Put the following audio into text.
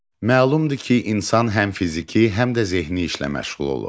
Məlumdur ki, insan həm fiziki, həm də zehni işlə məşğul olur.